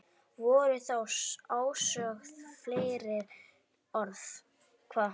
Voru þá ósögð fleiri orð.